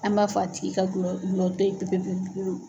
An m'a fɔ a tigi ka gulɔ gulɔ to ye pe pe pe pe pewu.